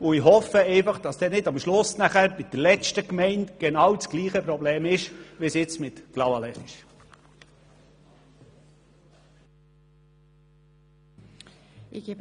Ich hoffe, dass es dann bei der letzten Gemeinde nicht dasselbe Problem gibt, wie heute bei Clavaleyres.